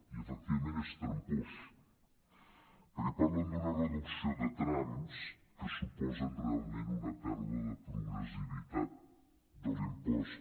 i efectivament és tram·pós perquè parlen d’una reducció de trams que suposen realment una pèrdua de pro·gressivitat de l’impost